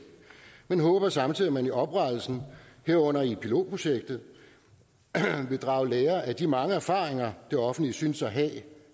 men håber samtidig at man ved oprettelsen herunder i pilotprojektet vil drage lære af de mange erfaringer det offentlige synes at have